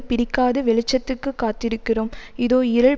பிடிக்காது வெளிச்சத்துக்கு காத்திருக்கிறோம் இதோ இருள்